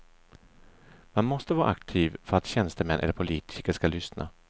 Man måste vara aktiv för att tjänstemän eller politiker skall lyssna.